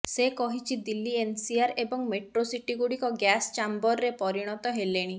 ସେ କହିଛି ଦିଲ୍ଲୀ ଏନ୍ସିଆର ଏବଂ ମେଟ୍ରୋସିଟିଗୁଡ଼ିକ ଗ୍ୟାସ୍ ଚାମ୍ବରରେ ପରିଣତ ହେଲେଣି